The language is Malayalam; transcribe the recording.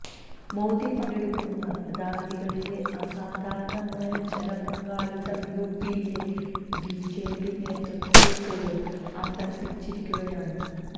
മോദി പങ്കെടുക്കുന്ന റാലികളിലെ അസാധാരണമായ ജനപങ്കാളിത്തം യുപിയിലെ ബിജെപി നേതൃത്വത്തെപ്പോലും അമ്പരപ്പിച്ചിരിക്കുകയാണ്